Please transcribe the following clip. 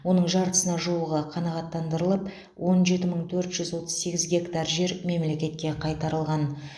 оның жартысына жуығы қанағаттандырылып он жеті мың төрт жүз отыз сегіз гектар жер мемлекетке қайтарылған